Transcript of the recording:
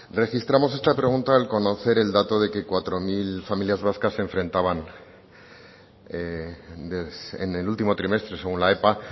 registramos esta pregunta al conocer el dato de que cuatro mil familias vascas se enfrentaban en el último trimestre según la epa